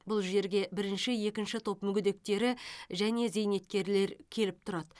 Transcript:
бұл жерге бірінші екінші топ мүгедектері және зейнеткерлер келіп тұрады